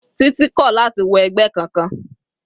Titi kò láti wọ ẹgbẹ́ kankan.